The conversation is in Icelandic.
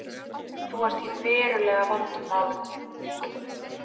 Þú ert í verulega vondum málum.